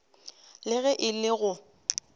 le ge e le go